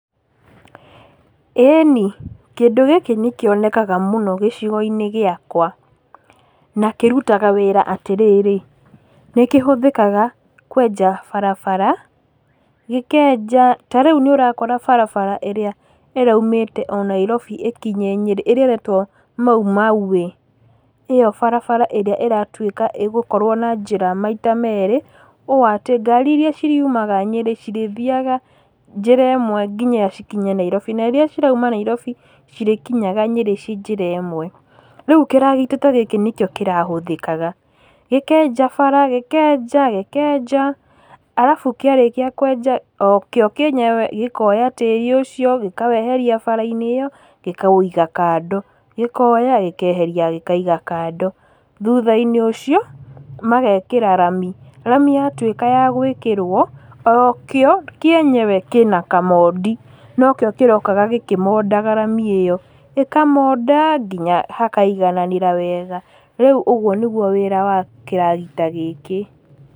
Ĩni, kĩndũ gĩkĩ nĩ kĩonekaga mũno gĩcigo-inĩ gĩakwa, na kĩrutaga wĩra atĩrĩrĩ; nĩ kĩhũthĩkaga kwenja barabara, gĩkenja, tarĩu nĩ ũrakora barabara ĩrĩa ĩroimĩte o Nairobi ĩkinye Nyeri ĩrĩa ĩretwo Maumau Way . ĩyo barabara ĩratuĩka atĩ ĩgũkorwo na njĩra maita merĩ. Ũũ atĩ ngari irĩa ciriumaga Nyeri cirĩthiaga njĩra ĩmwe nginya cikinya Nairobi, na irĩa cirauma Nairobi cirĩkinyaga Nyeri ci njĩra ĩmwe. Rĩu kĩragita ta gĩkĩ nĩkĩo kĩrahũthĩkaga, gĩkenja bara, gĩkenja arabu kĩarĩkia kwenja o kĩo yenyewe gĩkoya tĩĩri ũcio gĩkaweheria barainĩ gĩkaũiga kando gĩkoya gĩkeheria gĩkaiga kando. Thutha-inĩ ũcio magekĩra rami, rami yatuĩka ya gwĩkĩrwo, o kĩo yenyewe kĩna kamondi, nokĩo kĩrokaga gĩkĩmondaga rami ĩyo. Gĩkamonda nginya hakaigananĩra wega. Rĩu ũcio nĩguo wĩra wa kĩragita gĩkĩ.